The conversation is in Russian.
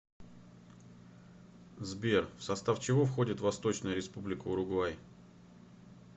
сбер в состав чего входит восточная республика уругвай